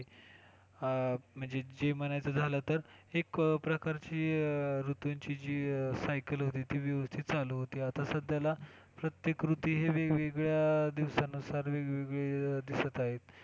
हा म्हणजे जे म्हणायचं झालं तर एक प्रकारची ऋतूंची जी cycle होती ती व्यवस्थित चालू होती आता सध्याला प्रत्येक ऋतू हे वेगवेगळ्या दिवसानुसार वेगवेगळे दिसत आहेत.